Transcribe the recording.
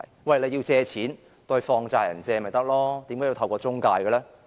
如果要借錢，向放債人借便可，為何要透過中介呢？